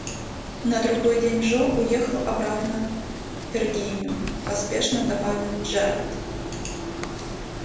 на другой день джо уехал обратно в виргинию поспешно добавил джералд